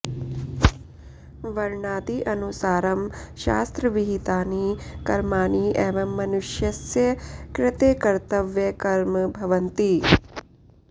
वर्णादि अनुसारं शास्त्रविहितानि कर्माणि एव मनुष्यस्य कृते कर्तव्यकर्म भवन्ति